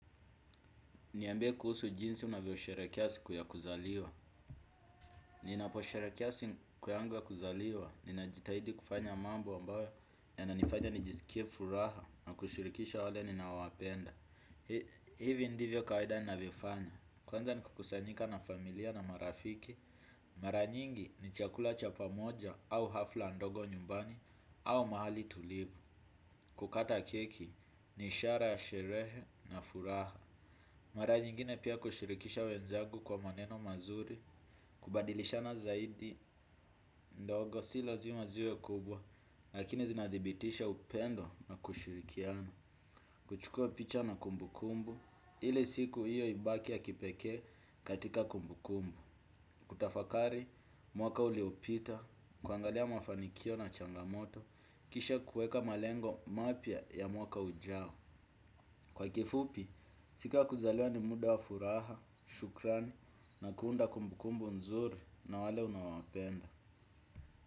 Niambie kuhusu jinsi unavyo sherehekea siku ya kuzaliwa. Ninapo sherehekea siku yangu ya kuzaliwa, ninajitahidi kufanya mambo ambayo yananifanya nijisikie furaha na kushirikisha wale ninao wapenda. Hivi ndivyo kawaida ninavyo fanya. Kwanza ni kukusanyika na familia na marafiki. Mara nyingi ni chakula cha pamoja au hafla ndogo nyumbani au mahali tulivu kukata keki ni ishara ya sherehe na furaha. Mara nyingine pia kushirikisha wenzangu kwa maneno mazuri, kubadilishana zaidi ndogo si lazima ziwe kubwa lakini zinadhibitisha upendo na kushirikiana. Kuchukua picha na kumbukumbu ili siku hiyo ibaki ya kipekee katika kumbukumbu. Kutafakari mwaka uliopita, kuangalia mafanikio na changamoto, kisha kuweka malengo mapya ya mwaka ujao. Kwa kifupi, siku ya kuzalewa ni muda wa furaha, shukrani na kuunda kumbukumbu nzuri na wale unaowapenda.